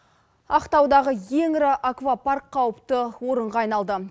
ақтаудағы ең ірі аквапарк қауіпті орынға айналды